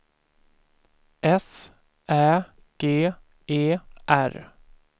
S Ä G E R